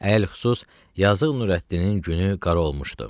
Əl-xüsus, yazıq Nurəddinin günü qara olmuşdu.